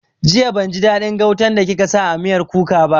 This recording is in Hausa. Jiya ban ji daɗin gautan da kika sa a miyar kuka ba